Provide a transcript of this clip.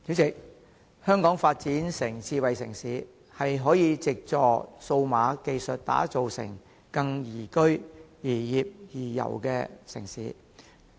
主席，香港推動智慧城市的發展，可以藉助創新科技打造成更宜居、宜業、宜遊的城市。